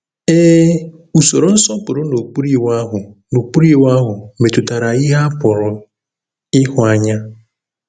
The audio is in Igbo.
Ee, usoro nsọpụrụ n’okpuru Iwu ahụ n’okpuru Iwu ahụ metụtara ihe a pụrụ ịhụ anya.